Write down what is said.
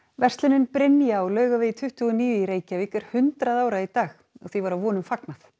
verslunin Brynja á Laugavegi tuttugu og níu í Reykjavík er hundrað ára í dag og því var að vonum fagnað